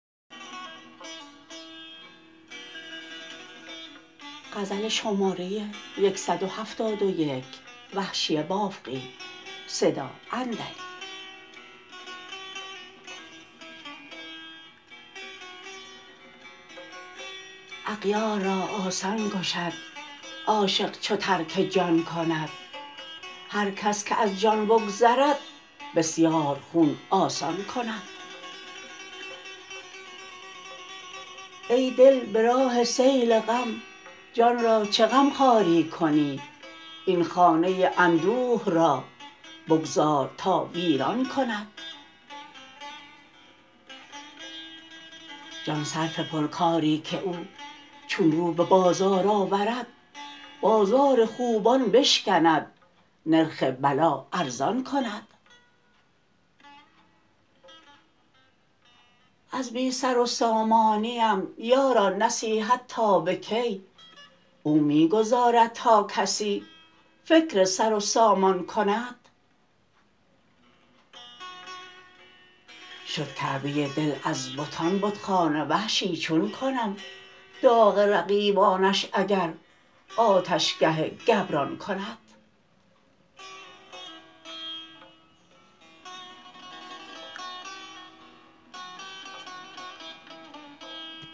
اغیار را آسان کشد عاشق چو ترک جان کند هر کس که از جان بگذرد بسیار خون آسان کند ای دل به راه سیل غم جان را چه غمخواری کنی این خانه اندوه را بگذار تا ویران کند جان صرف پرکاری که او چون رو به بازار آورد بازار خوبان بشکند نرخ بلا ارزان کند از بی سر و سامانیم یاران نصیحت تا به کی او می گذارد تا کسی فکر سرو سامان کند شد کعبه دل از بتان بتخانه وحشی چون کنم داغ رقیبانش اگر آتشگه گبران کند